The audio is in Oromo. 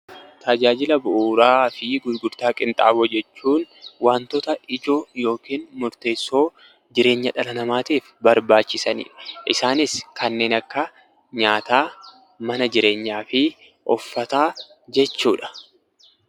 Tajaajila bu'uuraa fi gurgurtaa qinxaaboo jechuun wantoota ijoo yookiin murteessoo jireenya dhala namaatiif tajaajilan jechuudha. dhala namaatiif barbaachisanidha. Isaanis kanneen akka: nyaata, mana jireenyaa, uffataa akka fakkeenyaatti kaasuu ni dandeenya.